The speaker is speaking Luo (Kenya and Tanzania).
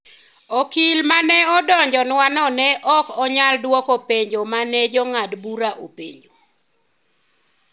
Okil ma ne odonjonwano ne ok onyal dwoko penjo ma ne jang`ad bura openjo.